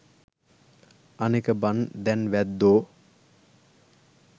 අනෙක බන් දැන් වැද්දෝ